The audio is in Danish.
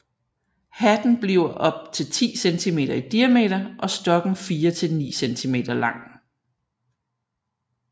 Hatten bliver op til 10 centimeter i diameter og stokken 4 til 9 cm lang